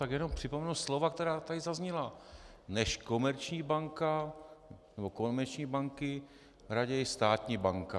Tak jenom připomenu slova, která tady zazněla: než komerční banka nebo komerční banky, raději státní banka.